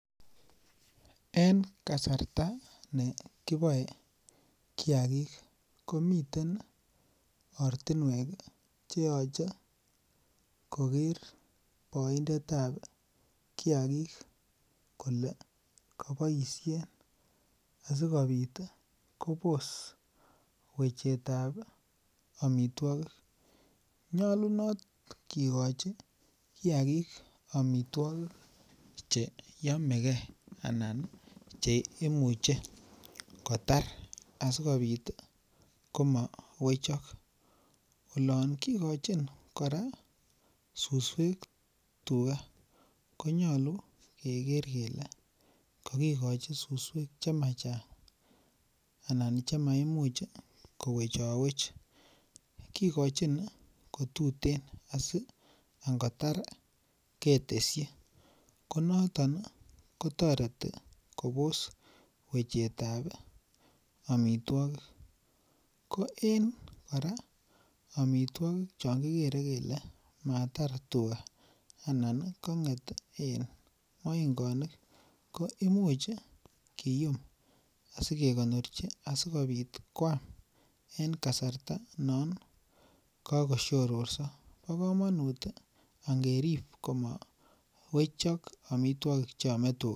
En kasarta nekiboe kiagik komiten ortinuek cheyoche koker boindetab kiagik kole keboisien asikobit ih Kobos wechetab amituakik. Nyolonot kikochi kiagik amituakik cheyamegei anan ih cheimuche kotar asikobit ih komawechak . Olon kikochin kora ih susuek tuga konyalu , keker kele kakikochi suswek chema chemachang anan chemayame kowechawech kikochin kotuten asi angotar ketesyi konaton kotoreti Kobos wechetab amituagig ko en kora amituakik chon kikere kele matar tuga anan kang'et en maingonik koimuch kium asikekonorchi asikonam en kasarta non kakosiororso. Bo komanut angerib komawechak amituogik cheame tuga.